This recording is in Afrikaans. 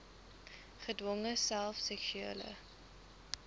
gedwonge self seksuele